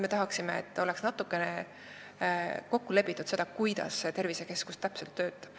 Me tahaksime, et oleks täpselt kokku lepitud, kuidas tervisekeskus töötab.